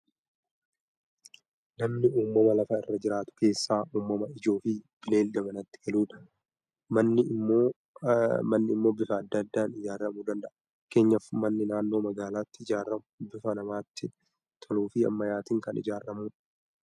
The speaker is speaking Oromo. Namni uumama lafa irra jiraatu keessaa uumama ijoo fi bineelda manatti galudha. Manni ammoo bifa adda addaan ijaaramuu danda'a. Fakkeenyaaf manni naannoo magaalaatti ijaaramu bifa namatti toluu fi ammayyaatiin kan ijaaramudha.